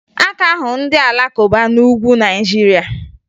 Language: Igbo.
A ka ahụ ndị Alakụba n'Ugwu Naịjirịa